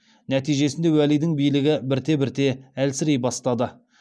нәтижесінде уәлидің билігі бірте бірте әлсірей бастады